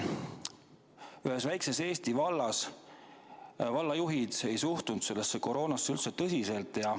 Ühes väikeses Eesti vallas ei suhtunud vallajuhid sellesse koroonasse üldse tõsiselt.